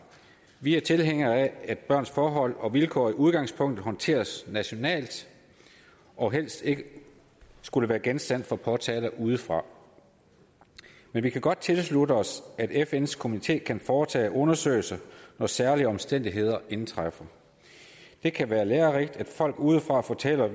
vi er tilhængere af at børns forhold og vilkår i udgangspunktet håndteres nationalt og helst ikke er genstand for påtaler udefra men vi kan godt tilslutte os at fns komité kan foretage en undersøgelse når særlige omstændigheder indtræffer det kan være lærerigt at folk udefra fortæller